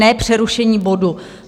Ne přerušení bodu.